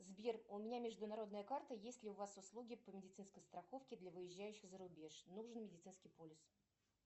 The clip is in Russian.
сбер у меня международная карта есть ли у вас услуги по медицинской страховке для выезжающих за рубеж нужен медицинский полис